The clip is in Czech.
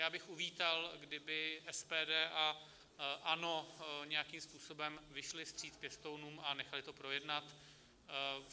Já bych uvítal, kdyby SPD a ANO nějakým způsobem vyšli vstříc pěstounům a nechali to projednat.